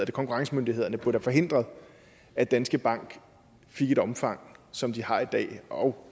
konkurrencemyndighederne burde have forhindret at danske bank fik det omfang som de har i dag og